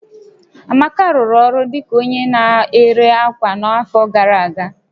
Amaka rụrụ ọrụ dị ka onye na-ere ákwà n'afọ gara aga